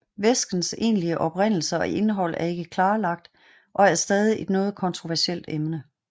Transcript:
Væskens egentlige oprindelse og indhold er ikke klarlagt og er stadig et noget kontroversielt emne